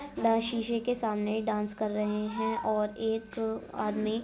शीशे के सामने डांस कर रहे है और एक आदमी --